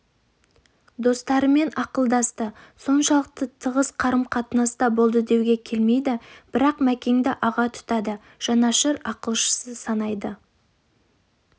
достарымен ақылдасты соншалық тығыз қарым қатынаста болды деуге келмейді бірақ мәкеңді аға тұтады жанашыр ақылшысы санайды